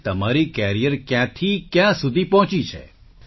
અને તમારી કેરિયર ક્યાંથી ક્યાં સુધી પહોંચી છે